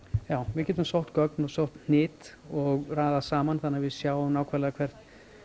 já við getum sótt sótt hnit og raðað saman þannig við sjáum nákvæmlega hvert